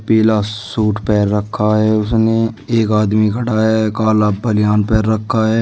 पीला सूट पहन रखा है उसने एक आदमी खड़ा है काला बनियान पहन रखा है।